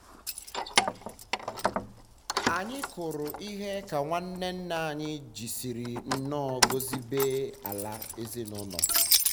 anyị um kụrụ um ihe ka nwanne nna um anyị jisiri nnu gọzie ibé-ala ezinụlọ.